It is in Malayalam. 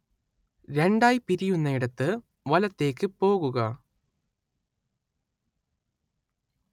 രണ്ടായി പിരിയുന്നയിടത്ത് വലത്തേക്ക് പോകുക